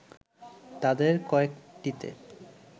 তাদের কয়েকটিতে